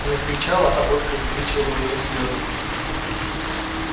она кричала а водка высвечивала у неё слезы